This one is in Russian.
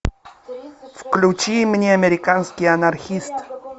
включи мне американский анархист